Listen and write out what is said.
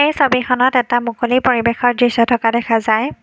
এই ছবিখনত এটা মুকলি পৰিৱেশৰ দৃশ্য থকা দেখা যায়।